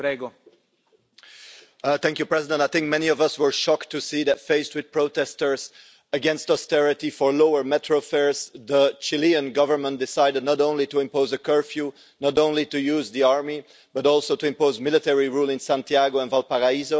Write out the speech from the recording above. Mr President, I think many of us were shocked to see that, faced with protesters against austerity for lower metro fares, the Chilean Government decided not only to impose a curfew, not only to use the army, but also to impose military rule in Santiago and Valparaiso.